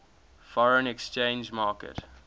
foreign exchange market